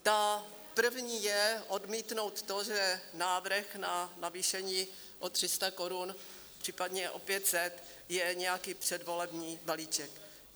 Ta první je odmítnout to, že návrh na navýšení o 300 korun, případně o 500 je nějaký předvolební balíček.